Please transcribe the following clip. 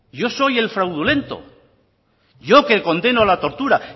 yo soy el fraudulento yo que condeno la tortura